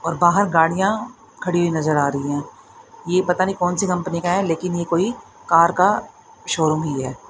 और बाहर गाड़ियां खड़ी नज़र आ रही है। ये पता नही कौन सी कम्पनी का है? लेकिन ये कोई कार का शोरूम ही है।